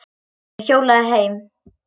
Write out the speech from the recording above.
Hann hjólaði heim.